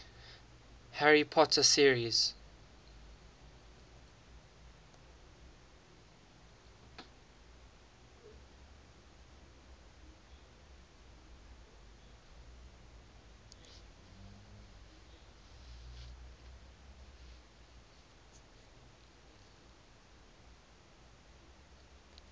harry potter series